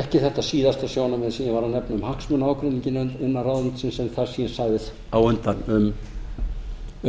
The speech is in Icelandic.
ekki þetta síðasta sjónarmið ég var að nefna um hagsmunaágreininginn innan ráðuneytisins en um það sem ég sagði á undan